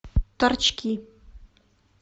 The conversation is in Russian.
торчки